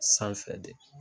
Sanfɛ de.